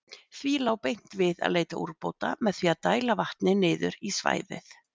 Því lá beint við að leita úrbóta með því að dæla vatni niður í svæðið.